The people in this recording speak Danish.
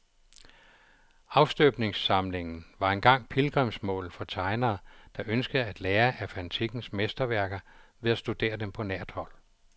Afstøbningssamlingen var engang pilgrimsmål for tegnere, der ønskede at lære af antikkens mesterværker ved at studere dem på nært hold.